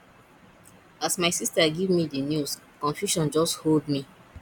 as my sista give me di news confusion just hold me